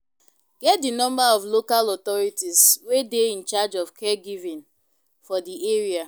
get di number of local authorities wey dey in charge of caregivign for di area